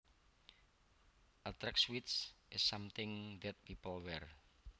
A tracksuit is something that people wear